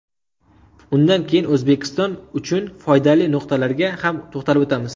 Undan keyin O‘zbekiston uchun foydali nuqtalarga ham to‘xtalib o‘tamiz.